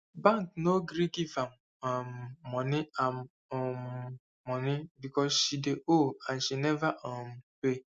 bank no gree give am um moni am um moni because she dey owe and she never um pay